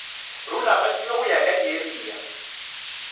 rulagantšwe go ya ka diarea